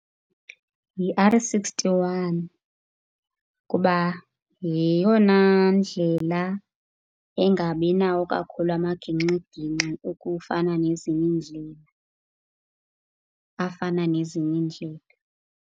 Yi-R sixty-one kuba yeyona ndlela engabinawo kakhulu amagingxigingxi okufana nezinye iindlela, afana nezinye iindlela.